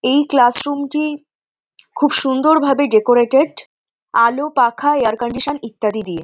এই ক্লাসরুম - টি খুব সুন্দর ভাবে ডেকোরেটেড আলো পাখা এয়ার কন্ডিশন ইত্যাদি দিয়ে।